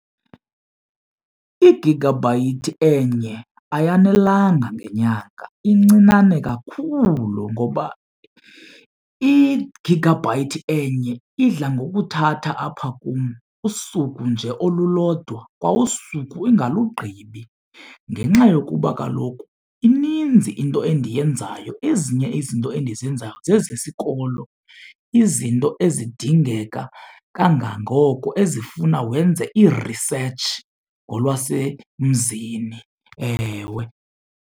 Igagabhayithi enye ayanelanga ngenyanga incinane kakhulu ngoba igagabhayithi enye idla ngokuthatha apha kum usuku nje olulodwa, kwausuku ingalugqibi ngenxa yokuba kaloku ininzi into endiyenzayo. Ezinye izinto endizenzayo zezesikolo, izinto ezidingeka kangangoko ezifuna wenze irisetshi ngolwasemzini, ewe.